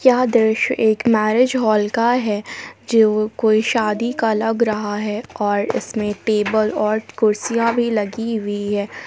यह दृश्य एक मैरिज हॉल का है जो कोई शादी का लग रहा है और इसमें टेबल और कुर्सियां भी लगी हुई है।